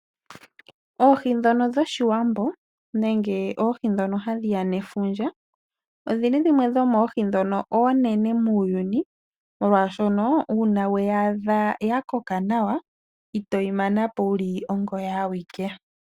Oohi ndhono dhOshiwambo nenge tutye oohi dhefundja odhi li dhimwe dhomoohi ndhono oonene muuyuni, molwashono ngele owe yi adha ya koka nawa, nena ito yi mana po wu li ongoye awike.